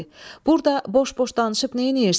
Burda boş-boş danışıb neynirsən?